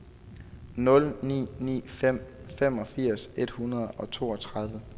nul ni ni fem femogfirs et hundrede og toogtredive